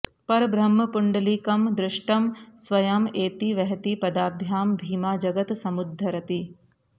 परब्रह्म पुण्डलिकम् द्रष्टम् स्वयम् एति वहति पदाभ्याम् भीमा जगत् समुद्धरति